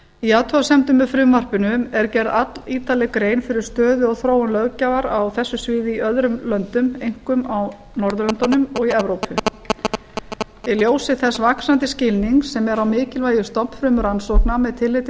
í athugasemdum með frumvarpinu er gerð allítarleg grein fyrir stöðu og þróun löggjafar á þessu sviði í öðrum löndum einkum norðurlöndunum og í evrópu í ljósi þess vaxandi skilnings sem er á mikilvægi stofnfrumurannsókna með tilliti